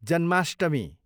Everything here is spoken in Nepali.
जन्माष्टमी